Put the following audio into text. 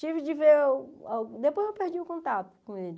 Tive de ver... Depois eu perdi o contato com ele.